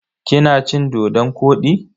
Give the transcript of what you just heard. Kina cin-dodon kwodi?